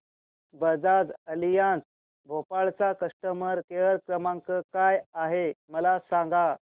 Bajaj Allianz Bhopal चा customer care क्रमांक काय आहे मला सांगा